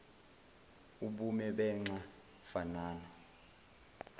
ubume benxa fanana